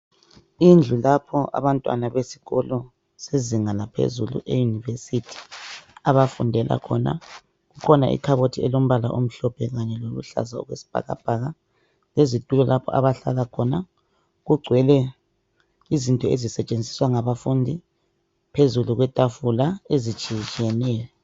Indlu lapho abantwana besikolo sezinga laphezulu eyunivesithi abafundela khona. Kukhona ikhabothi elombala omhlophe kanye loluhlaza okwesibhakabhaka lezitulo lapho abahlala khona. Kugcwele izinto ezisetshenziswa ngabafundi phezu kwetafula ezitshiyetshiyeneyo.